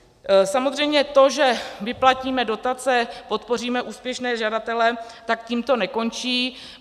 Samozřejmě to, že vyplatíme dotace, podpoříme úspěšné žadatele, tak tím to nekončí.